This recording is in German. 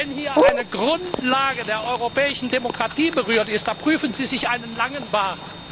Wenn hier wiederum eine Grundlage der europäischen Demokratie berührt wird, da prüfen Sie sich einen langen Bart!